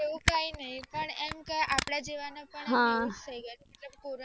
તો કઈ નહિ એમ આપણા જેવાને એટલે કોરોના